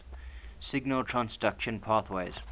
signal transduction pathways